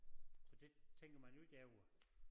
Så det tænker man jo ikke over